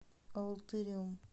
алатырем